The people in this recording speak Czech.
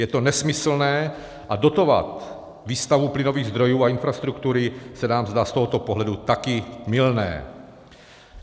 Je to nesmyslné a dotovat výstavbu plynových zdrojů a infrastruktury se nám zdá z tohoto pohledu taky mylné.